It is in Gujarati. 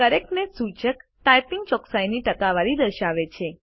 કરેક્ટનેસ સૂચક ટાઇપિંગ ચોકસાઈની ટકાવારી દર્શાવે છે